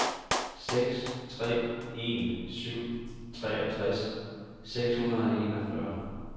seks tre en syv treogtres seks hundrede og enogfyrre